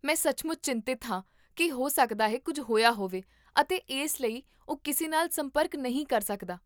ਮੈਂ ਸੱਚਮੁੱਚ ਚਿੰਤਤ ਹਾਂ ਕੀ ਹੋ ਸਕਦਾ ਹੈ ਕੁੱਝ ਹੋਇਆ ਹੋਵੇ ਅਤੇ ਇਸ ਲਈ ਉਹ ਕਿਸੇ ਨਾਲ ਸੰਪਰਕ ਨਹੀਂ ਕਰ ਸਕਦਾ